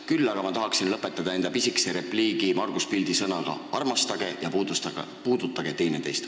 Küll aga tahan enda pisikese repliigi lõpetada Margus Pildi sõnadega "armastage ja puudutage teineteist".